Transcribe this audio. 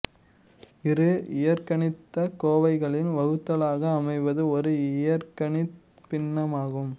இரு இயற்கணிதக் கோவைகளின் வகுத்தலாக அமைவது ஒரு இயற்கணித பின்னமாகும்